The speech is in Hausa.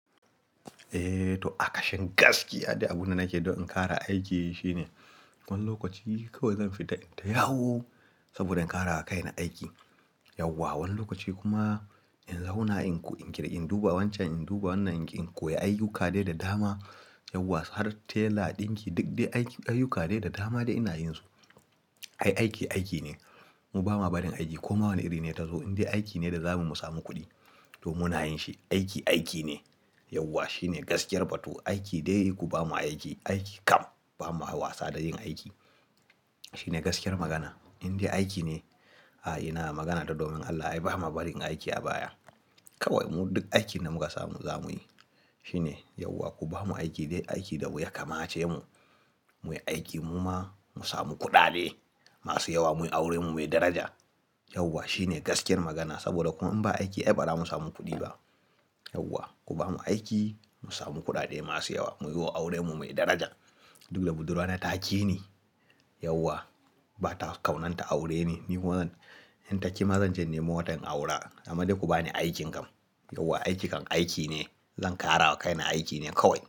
Eh, to akashen gaskiya dai abunda nake don in kara aiki shine, wani lokaci kawai zan fita in tayawo saboda in kara wa kaina aiki yauwa. Wani lokaci kuma in zauna in ku in kira in duba wancan, in duba wannan, in koya ayyuka dai da dama yauwa har tela ɗin ki duk dai aiki ayyuka dai da dama da ina yin su. Ai aiki aiki ne, mu bamu barin aiki koma wane iri ne ta zo indai aiki ne da zamu samu kuɗi to muna yin shi. Aiki aiki ne yauwa shine gaskiyar batu. Aiki dai ku bamu aiki, aiki kam bama wasa da yin aiki shine gaskiyar magana. Indai aiki ne, a ina magana ta domin Allah ai bamu barin aiki a baya. Kawai mu duk aikin da muka samu zamuyi shine yauwa ku bamu aiki dai aiki da wuya kam ace mu muyi aiki muma musamu kuɗaɗe masu yawa muyi aure mu muyi daraja yauwa shine gaskiyar magana. Saboda kuma in ba aiki ai bazamu samu kuɗi ba yauwa. Ku bamu aiki mu samu kuɗaɗe masu yawa muyiwo aure mu muyi daraja. Duk da budurwa na ta ƙi ni yauwa, ba ta kaunan ta aure ni. Ni kuma zan in ta ƙi ma zan je in nemo wata in aura. Amadai ku bani aikin kam, yauwa aiki kam aiki ne. Zan kara wa kaina aiki ne kawai.